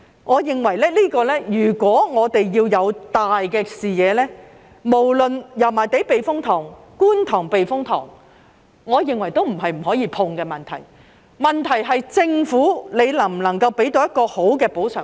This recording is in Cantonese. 我認為，如果我們要有大視野，無論是油麻地避風塘抑或觀塘避風塘，都並非不可觸碰的問題，問題是政府能否提供一個好的補償方案。